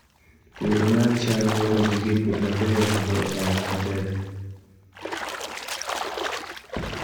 Puodho mar cham dwaro gige pur mabeyo mondo onyag nyak maber